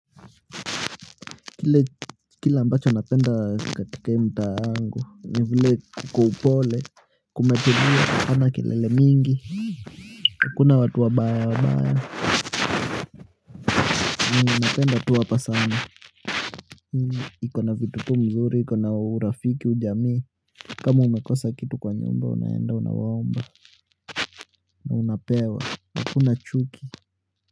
Kile ambacho napenda katika hii mtaa wangu ni vile iko upole. Kumetulia hapana kelele mingi hakuna watu wabaya wabaya. Mimi napenda tu hapa sana iko na vitu tu mzuri, iko na urafiki, ujamii. Kama umekosa kitu kwa nyumba, unaenda, unawaomba na unapewa, hakuna chuki.